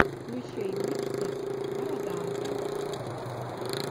включи миксы бороданте